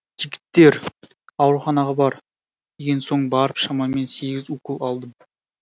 жігіттер ауруханаға бар деген соң барып шамамен сегіз укол алдым